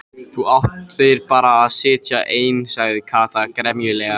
Þú áttir bara að sitja ein sagði Kata gremjulega.